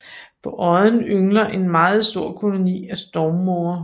På odden yngler en meget stor koloni af stormmåger